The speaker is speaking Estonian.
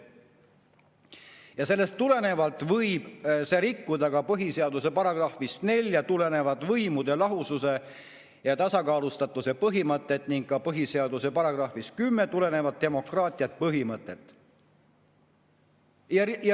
Ja sellest tulenevalt võib see rikkuda ka põhiseaduse §-st 4 tulenevat võimude lahususe ja tasakaalustatuse põhimõtet ning ka põhiseaduse §-st 10 tulenevat demokraatia põhimõtet.